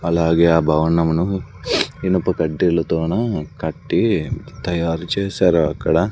అలాగే ఆ భవనమును ఇనుప కడ్డీలా తోన కట్టి తయారు చేసారు అక్కడ --